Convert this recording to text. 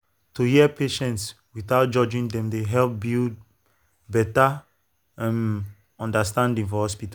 to hear patients without judging dem dey help build build better um understanding for hospital.